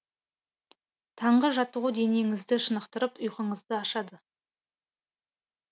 таңғы жаттығу денеңізді шынықтырып ұйқыңызды ашады